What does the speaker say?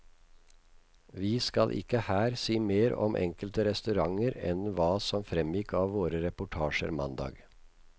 Vi skal ikke her si mer om enkelte restauranter enn hva som fremgikk av våre reportasjer mandag.